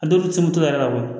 A dɔw bɛ se moto yɛrɛ la